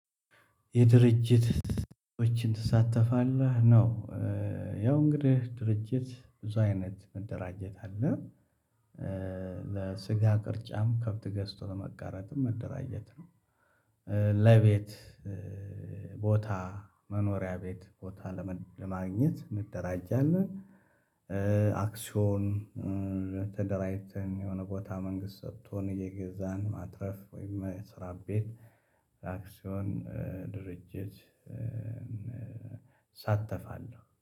የድርጅት ሰዎችን ትሳተፋለህ ነው። ያው እንግዲህ ድርጅት ብዙ አይነት መደራጀት አለ። ለስጋ ቅርጫም ከብት ገዝቶ ለመጋራትም መደራጀት ነው። ለቤት ቦታ መኖሪያ ቤት ቦታ ለማግኘት እንደራጃለን። አክስዮን ተደራጅተን የሆነ ቦታ መንግስት ሰጥቶን እየገዛን ማትረፍ ወይም መስራት ቤት አክስዮን ድርጅት እሳተፋለሁ